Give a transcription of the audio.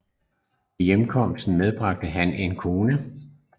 Ved hjemkomsten medbragte han en kone